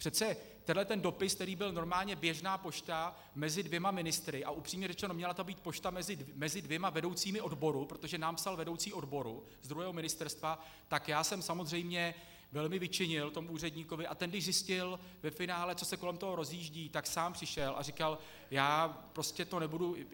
Přece tenhle dopis, který byl normálně běžná pošta mezi dvěma ministry, a upřímně řečeno, měla to být pošta mezi dvěma vedoucími odboru, protože nám psal vedoucí odboru ze druhého ministerstva, tak já jsem samozřejmě velmi vyčinil tomu úředníkovi, a ten když zjistil ve finále, co se kolem toho rozjíždí, tak sám přišel a říkal: Já prostě to nebudu...